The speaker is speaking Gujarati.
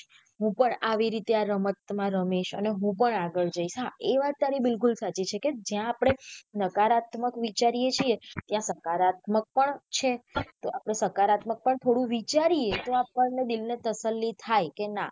હું પણ આઈ રીતે આ રમત માં રમીશ અને હું પણ આગળ જયીસ હા એ વાત તારી બિકુલ સાચી છે કે જ્યાં આપડે નકારાત્મક વિચારીયે છીએ ત્યાં સકારાત્મક પણ છે તો આપડે સકારાત્મત પણ થોડું વિચારીયે તો આપણ ને દિલ ને તસલ્લી થાય કે ના.